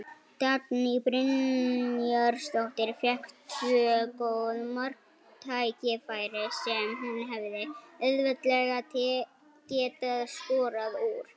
Dagný Brynjarsdóttir fékk tvö góð marktækifæri sem hún hefði auðveldlega getað skorað úr.